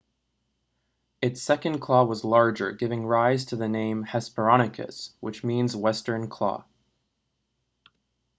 its second claw was larger giving rise to the name hesperonychus which means western claw